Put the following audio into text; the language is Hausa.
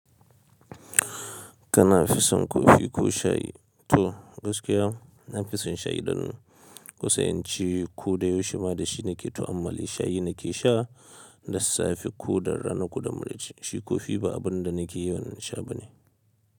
Kana fison kofi ko shayi to gaskiya na fison shayi dan. Kusan yanci kuɗa 15 ne ke tu'ammali shayi na ke sha da safe kuɗa rana kuɗa muric. Shi kofi ba abun da na ke yawan sha bane.